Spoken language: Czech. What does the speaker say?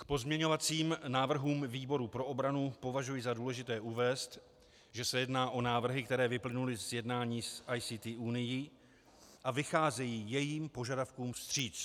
K pozměňovacím návrhům výboru pro obranu považuji za důležité uvést, že se jedná o návrhy, které vyplynuly z jednání s ICT Unií a vycházejí jejím požadavkům vstříc.